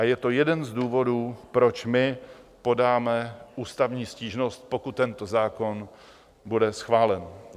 A je to jeden z důvodů, proč my podáme ústavní stížnost, pokud tento zákon bude schválen.